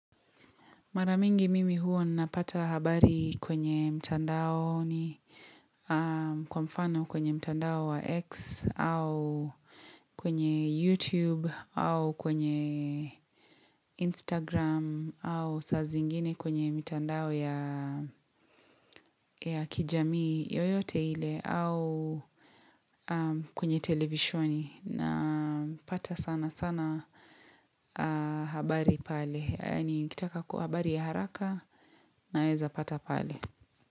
Mara mingi mimi huwa napata habari kwenye mtandaoni kwa mfano kwenye mtandao wa X au kwenye YouTube au kwenye Instagram au sa zingine kwenye mtandao ya kijamii yoyote ile au kwenye televisoni. Napata sanasana habari pale Yaani nikitaka habari ya haraka naweza pata pale.